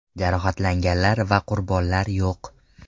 Jarohatlanganlar va qurbonlar yo‘q.